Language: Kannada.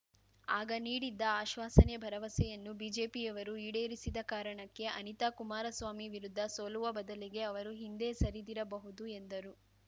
ಆಗ ನೀಡಿದ್ದ ಆಶ್ವಾಸನೆ ಭರವಸೆಯನ್ನು ಬಿಜೆಪಿಯವರು ಈಡೇರಿಸಿದ ಕಾರಣಕ್ಕೆ ಅನಿತಾ ಕುಮಾರಸ್ವಾಮಿ ವಿರುದ್ಧ ಸೋಲುವ ಬದಲಿಗೆ ಅವರು ಹಿಂದೆ ಸರಿದಿರಬಹುದು ಎಂದರು